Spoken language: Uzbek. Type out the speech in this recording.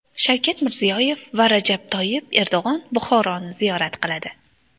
Shavkat Mirziyoyev va Rajab Toyyib Erdo‘g‘on Buxoroni ziyorat qiladi.